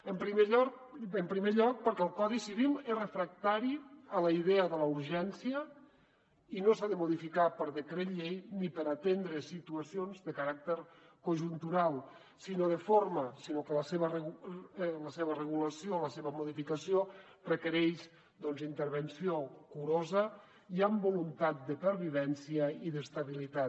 en primer lloc perquè el codi civil és refractari a la idea de la urgència i no s’ha de modificar per decret llei ni per atendre situacions de caràcter conjuntural sinó de forma sinó que la seva regulació la seva modificació requereix doncs intervenció curosa i amb voluntat de pervivència i d’estabilitat